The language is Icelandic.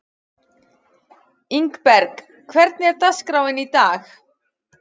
Ingberg, hvernig er dagskráin í dag?